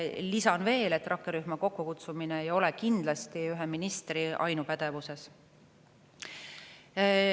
Lisan veel, et rakkerühma kokkukutsumine ei ole kindlasti ühe ministri ainupädevuses.